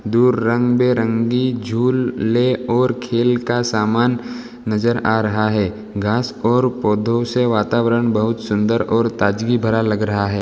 दूर रंग-बिरंगी झूल ले और खेल का सामान नजर आ रहा हैं। घास और पौधों से वातावरण बहुत सुंदर और ताजगी भरा लग रहा हैं।